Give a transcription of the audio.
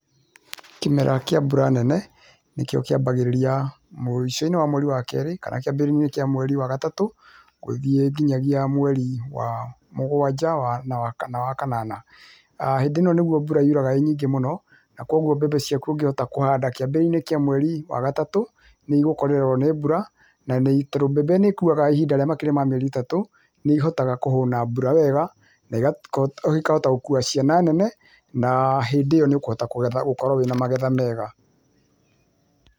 Kĩmera kĩa mbura nene, nĩkĩo kĩambagĩrĩria mũico-inĩ wa mweri wa kerĩ, kana kĩambĩrĩria-inĩ kĩa mweri wa gatatũ gũthiĩ nginyagia mweri wa mũgwanja wa na wa kanana. Hĩndĩ ĩno nĩguo mbura yuraga ĩ nyingĩ mũno, na kwoguo mbembe ciaku ũngĩhota kũhanda kĩambĩrĩria-inĩ kĩa mweri wa gatatũ, nĩigũkorererwo nĩ mbura, na tondũ mbembe nĩĩkuaga ihinda rĩa makĩria ma mĩeri ĩtatũ, nĩihotaga kũhũna mbura wega, na ikahota gũkuua ciana nene, na hĩndĩ ĩyo nĩũkũhota kũgetha ũkorwo wĩna magetha mega.